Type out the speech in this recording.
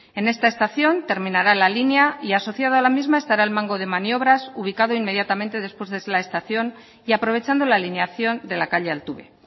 en esta estación terminará la línea y asociada a la misma estará el mango de maniobras ubicado inmediatamente después de la estación y aprovechando la alineación de la calle altube